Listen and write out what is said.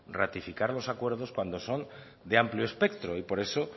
ratificar los acuerdos cuando son de amplio espectro y por eso